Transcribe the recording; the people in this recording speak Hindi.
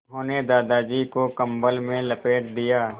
उन्होंने दादाजी को कम्बल में लपेट दिया